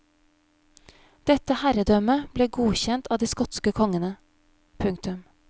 Dette herredømmet ble godkjent av de skotske kongene. punktum